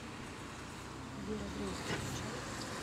вера дрейк включай